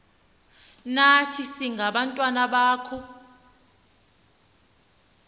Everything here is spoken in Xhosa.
nathi singabantwana bakho